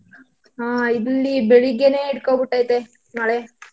ಹಾ ಇಲ್ಲಿ ಬೆಳಿಗ್ಗೇನೇ ಹಿಡ್ಕೊ ಬಿಟೈತೆ ಮಳೆ.